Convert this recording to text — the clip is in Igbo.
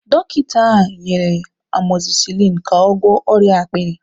Dọkịta ahụ nyere amozisilini ka ọ gwọọ ọrịa akpịrị.